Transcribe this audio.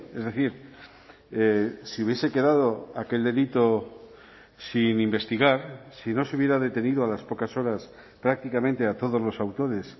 es decir si hubiese quedado aquel delito sin investigar si no se hubiera detenido a las pocas horas prácticamente a todos los autores